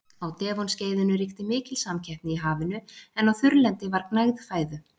Á Devon-skeiðinu ríkti mikil samkeppni í hafinu en á þurrlendi var gnægð fæðu.